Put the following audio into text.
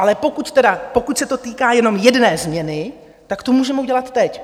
Ale pokud se to týká jenom jedné změny, tak to můžeme udělat teď.